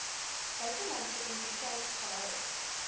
buitelandse entiteit gehou